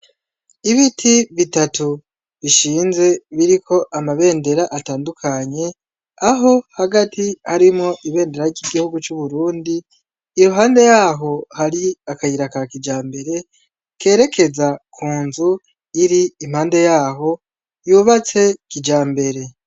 Ibiti bitatu bishinze biriko amabendera atandukanye aho hagati harimwo Ibendera ry'igihugu c'uburundi iruhande yaho hari akayira ka kijambere kerekeza ku nzu iri ipande yaho y'ubatse kijambare.